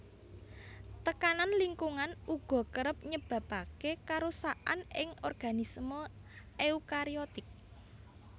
Tekanan lingkungan uga kerep nyebabaké karusakan ing organisme eukariotik